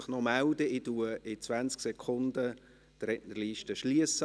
Ich schliesse die Rednerliste in 20 Sekunden.